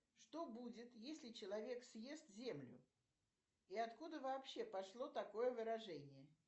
что будет если человек съест землю и откуда вообще пошло такое выражение